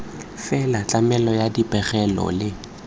fela tlamelo ya dipegelo le